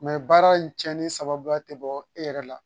baara in cɛnni sababuya te bɔ e yɛrɛ la